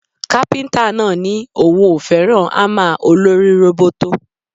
Kápíntà náà ní òun ò fẹ́ràn ámà olórí róbótó